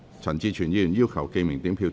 陳志全議員要求點名表決。